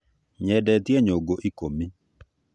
Nyendetie nyũngũ ikũmĩ